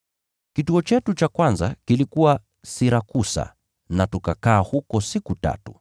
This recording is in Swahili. Kituo chetu cha kwanza kilikuwa Sirakusa na tukakaa huko siku tatu.